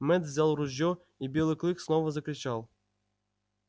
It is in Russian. мэтт взял ружьё и белый клык снова закричал